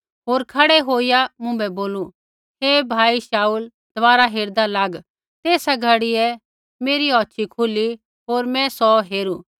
होर खड़ै होईया मुँभै बोलू हे भाई शाऊल दबारा हेरदा लाग तेसा घड़ियै मेरी औछ़ी खुली होर मैं सौ हेरू